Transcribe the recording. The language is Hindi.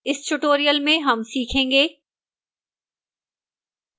इस tutorial में हम सीखेंगे: